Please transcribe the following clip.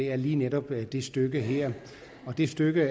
er lige netop på det stykke her det stykke